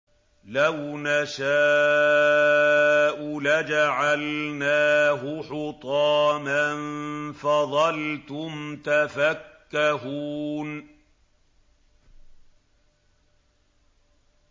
لَوْ نَشَاءُ لَجَعَلْنَاهُ حُطَامًا فَظَلْتُمْ تَفَكَّهُونَ